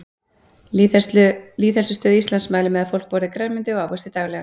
Lýðheilsustöð Íslands mælir með að fólk borði grænmeti og ávexti daglega.